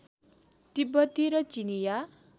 तिब्बती र चिनियाँ